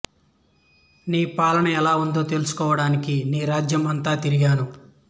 నీ పాలన ఎలా ఉందో తెలుసుకోవడానికి నీ రాజ్యం అంతా తిరిగాను